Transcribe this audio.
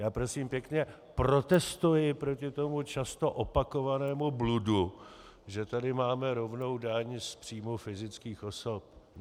Já, prosím pěkně, protestuji proti tomu často opakovanému bludu, že tady máme rovnou daň z příjmů fyzických osob.